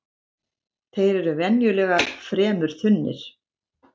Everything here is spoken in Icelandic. Þeir eru venjulega fremur þunnir